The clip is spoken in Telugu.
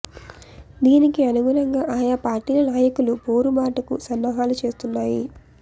దీనికి అనుగుణంగా ఆయా పార్టీల నాయకులు పోరు బాటకు సన్నాహాలు చేస్తున్నాయి